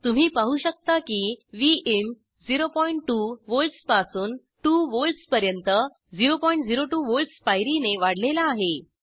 तुम्ही पाहू शकता की विन 02 वोल्ट्सपासून 2 वोल्ट्सपर्यंत 002 वोल्ट्स पायरीने वाढलेला आहे